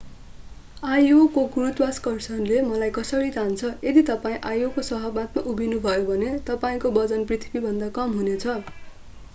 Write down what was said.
io को गुरुत्वाकर्षणले मलाई कसरी तान्छ यदि तपाईं io को सतहमा उभिनुभयो भने तपाईंको वजन पृथ्वीमाभन्दा कम हुनेछ